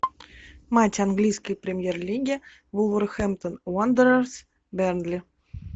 матч английской премьер лиги вулверхэмптон уондерерс бернли